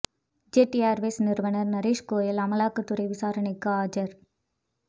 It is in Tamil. ஜெட் ஏர்வேஸ் நிறுவனர் நரேஷ் கோயல் அமலாக்க துறை விசாரணைக்கு ஆஜர்